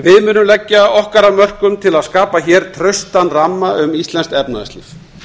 við munum leggja okkar af mörkum til að skapa hér traustan ramma um íslenskt efnahagslíf